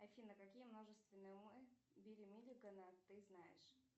афина какие множественные умы билли миллигана ты знаешь